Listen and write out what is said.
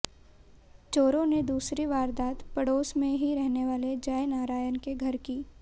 चोरों ने दूसरी वारदात पड़ोस में ही रहने वाले जयनारायण के घर की